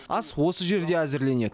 ас осы жерде әзірленеді